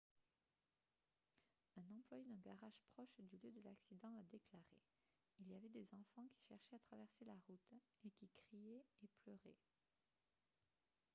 un employé d'un garage proche du lieu de l’accident a déclaré :« il y avait des enfants qui cherchaient à traverser la route et qui criaient et pleuraient. »